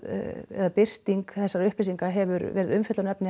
eða birting þessara upplýsinga hefur verið umfjöllunarefni